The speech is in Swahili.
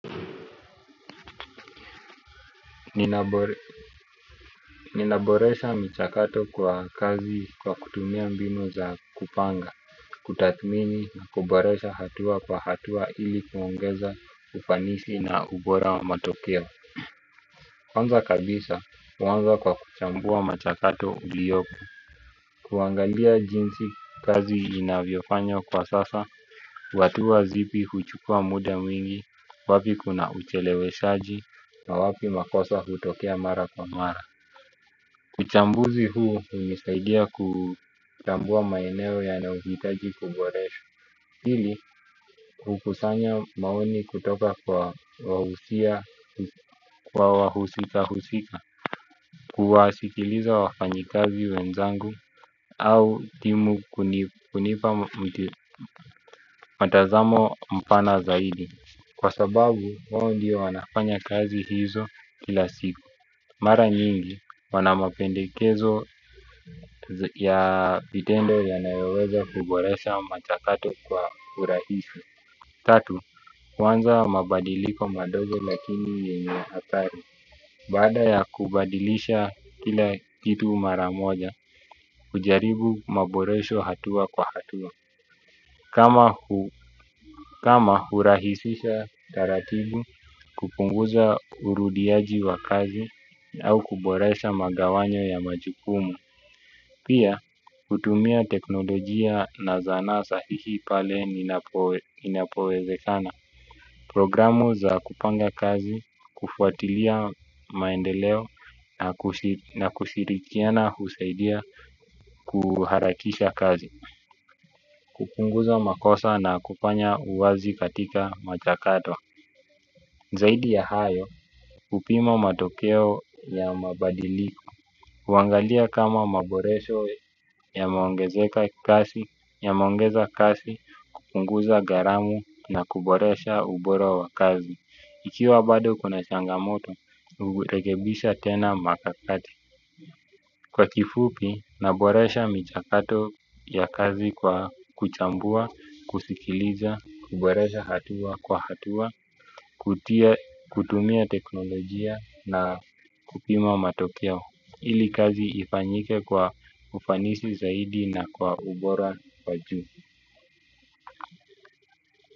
Ninaboresha michakato kwa kazi kwa kutumia mbinu za kupanga. Kutathmini na kuboresha hatua kwa hatua ili kuongeza ufanisi na ubora wa matokeo. Kwanza kabisa huanza kwa kuchambua machakato uliyopo. Kuangalia jinsi kazi inavyofanywa kwa sasa. Hatua zipi huchukua muda mwingi wapi kuna ucheleweshaji na wapi makosa hutokea mara kwa mara. Uchambuzi huu hunisaidia kuchambua maeneo yanayohitaji kuboreshwa. Hili hukusanya maoni kutoka kwa wawusika husika. Kuwasikiliza wafanyikazi wenzangu au timu kunipa mtazamo mpana zaidi. Kwa sababu wao ndio wanafanya kazi hizo kila siku. Mara nyingi, wana mapendekezo ya vitendo yanayoweza kuboresha michakato kwa urahisi. Tatu, huanza mabadiliko madogo lakini yenye hatari. Baada ya kubadilisha kila kitu maramoja, hujaribu maboresho hatua kwa hatua. Kama hurahisisha taratibu kupunguza urudiaji wa kazi au kuboresha magawanyo ya majukumu. Pia, hutumia teknolojia na zana sahihi pale inapowezekana. Programu za kupanga kazi, kufuatilia maendeleo na kushirikiana husaidia kuharakisha kazi. Kupunguza makosa na kufanya uwazi katika michakato. Zaidi ya hayo, hupima matokeo ya mabadiliko. Huangalia kama maboresho yameongezeka kasi, yameongeza kasi, kupunguza gharamu na kuboresha ubora wa kazi. Ikiwa bado kuna changamoto, hurekebisha tena mikakati. Kwa kifupi, naboresha michakato ya kazi kwa kuchambua, kusikiliza, kuboresha hatua kwa hatua, kutumia teknolojia na kupima matokeo. Ili kazi ifanyike kwa ufanisi zaidi na kwa ubora wa juu.